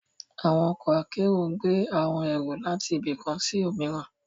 Awọn ọkọ akero n gbe awọn ero lati ibi kan si omiran